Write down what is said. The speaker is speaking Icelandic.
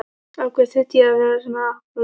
Af hverju þurfti ég að vera svona álappalegur?